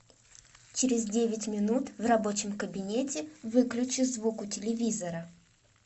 через девять минут в рабочем кабинете выключи звук у телевизора